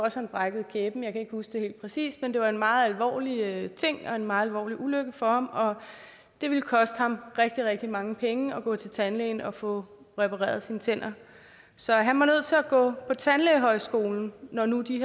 at han brækkede kæben jeg kan ikke huske det præcist men det var en meget alvorlig ting og en meget alvorlig ulykke for ham og det ville koste ham rigtig rigtig mange penge at gå til tandlægen og få repareret sine tænder så han var nødt til at gå på tandlægeskolen når når de